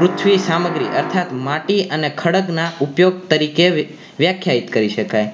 પૃથ્વી સામગ્રી અર્થાત માટી અને ખડગ ના ઉદ્યોગ તરીકે વ્યાખ્યાયિત કરી શકાય